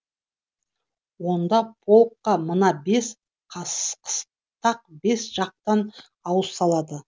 онда полкқа мына бес қыстақ бес жақтан ауыз салады